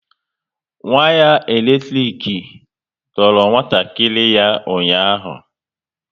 Waya elektrik doro nwatakịrị ya ụnyaahụ